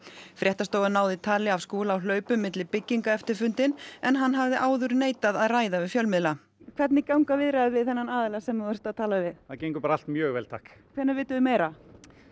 fréttastofa náði tali af Skúla á hlaupum milli bygginga eftir fundinn en hann hafði áður neitað að ræða við fjölmiðla hvernig ganga þessar viðræður við þennan aðila sem þú ert að tala við það gengur bara allt mjög vel takk hvenær vitum við meira